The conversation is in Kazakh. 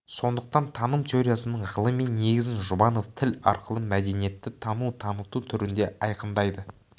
сондықтан таным теориясының ғылыми негізін жұбанов тіл арқылы мәдениетті тану таныту түрінде айқындайды